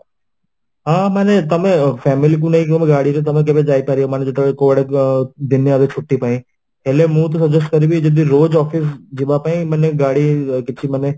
ହଁ ମାନେ ତମେ family କୁ ନେଇକି ଗାଡି ରେ ତମେ କେବେ ଯାଇପାରିବ ମାନେ ଯେତବେଳେ କୁଆଡେ ଦିନେ ଅଧେ ଛୁଟି ପାଇଁ ହେଲେ ମୁଁ ତ suggest କରିବି ଯଦି office ଯିବାପାଇଁ ମାନେ ଗାଡି କିଛି ମାନେ